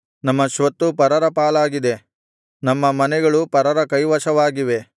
ನಮ್ಮ ಸ್ವತ್ತು ಪರರ ಪಾಲಾಗಿದೆ ನಮ್ಮ ಮನೆಗಳು ಪರರ ಕೈವಶವಾಗಿವೆ